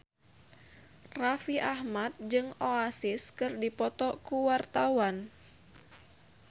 Raffi Ahmad jeung Oasis keur dipoto ku wartawan